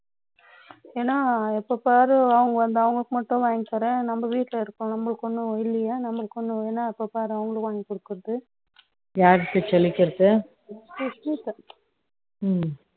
ஏன்னா, இப்ப பாரு, அவங்க வந்து, அவங்களுக்கு மட்டும் வாங்கி தரேன். நம்ம வீட்டுல இருக்கோம். நம்மளுக்கு ஒண்ணும் இல்லையே, நமக்கு ஒண்ணும் வேணாம், இப்ப பாரு, அவங்களுக்கு வாங்கிக் கொடுக்கிறது. யார்கிட்ட சொல்லிக்கிறது ம்,